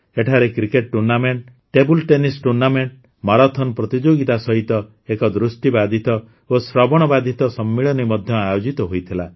ଏଠାରେ cricket tournament table tennis tournament marathon ପ୍ରତିଯୋଗିତା ସହିତ ଏକ ଦୃଷ୍ଟିବାଧିତ ଓ ଶ୍ରବଣବାଧିତ ସମ୍ମିଳନୀ ମଧ୍ୟ ଆୟୋଜିତ ହୋଇଥିଲା